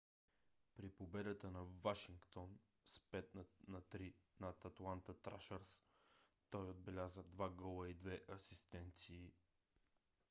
при победата на вашингтон с 5 на 3 над атланта трашърс той отбеляза 2 гола и 2 асистенции